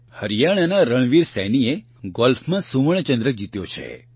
હરિયાણાના રણવીર સૈનીએ ગોલ્ફમાં સુવર્ણચંદ્રક જીત્યો છે